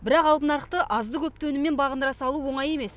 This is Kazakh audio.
бірақ алып нарықты азды көпті өніммен бағындыра салу оңай емес